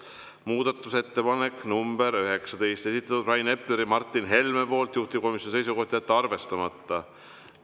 Muudatusettepanek nr 19, esitanud Rain Epler ja Martin Helme, juhtivkomisjoni seisukoht: jätta arvestamata.